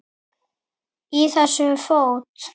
Í þessu fót